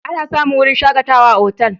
Ana samun wurin shakatawa a otal.